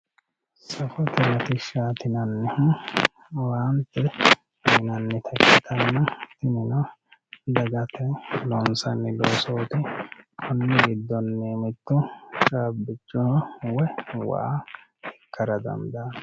Safote latishshati yinannihu owaante uyinannitta ikkittanna tinino dagate loonsanni loosoti koni giddoni mitto caabbicho woyi waa ikkara dandaano.